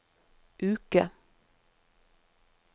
uke